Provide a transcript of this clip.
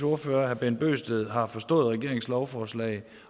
ordfører herre bent bøgsted har forstået regeringens lovforslag